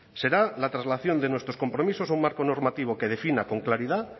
será la traslación de nuestros compromisos a un marco normativo que defina con claridad